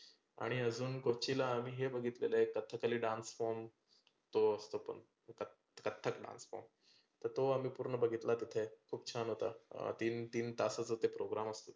आणि कोचीला हे बघीतलेलं एकदा कथकली dance form तो असतो तो कथ कथ्थक dance form तर तो आम्ही बघीतला तिथे खुप छान होता. तीन तीन तासचं होते program